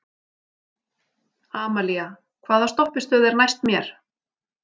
Amalía, hvaða stoppistöð er næst mér?